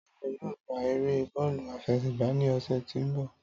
Táyọ̀ yóò gbá eré bọ́ọ̀lù àfẹsẹ̀gba ní ọ̀sẹ̀ tí ó ń bọ̀